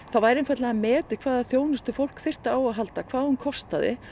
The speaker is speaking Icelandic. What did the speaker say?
það væri einfaldlega metið hvaða þjónustu fólk þyrfti á að halda hvað hún kostaði